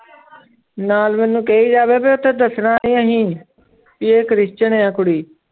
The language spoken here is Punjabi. ਨਾਲ ਮੈਨੂੰ ਕਹੀ ਜਾਵੇ ਵੀ ਉੱਥੇ ਦੱਸਣਾ ਨੀ ਅਸੀਂ ਵੀ ਇਹ ਕ੍ਰਿਸਚਨ ਹੈ ਕੁੜੀ।